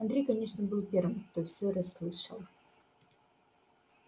андрей конечно был первым кто всё расслышал